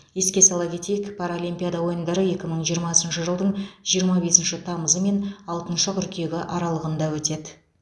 еске сала кетейік паралимпиада ойындары екі мың жиырмасыншы жылдың жиырма бесінші тамызы мен алтыншы қыркүйегі аралығында өтеді